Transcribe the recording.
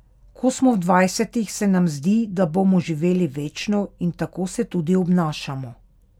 Ko smo v dvajsetih, se nam zdi, da bomo živeli večno in tako se tudi obnašamo.